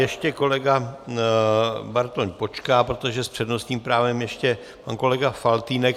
Ještě kolega Bartoň počká, protože s přednostním právem ještě pan kolega Faltýnek.